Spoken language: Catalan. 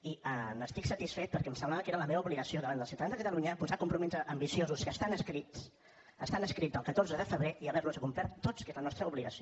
i n’estic satisfet perquè em semblava que era la meva obligació davant dels ciutadans de catalunya posar compromisos ambiciosos que estan escrits estan escrits del catorze de febrer i haver los complert tots que és la nostra obligació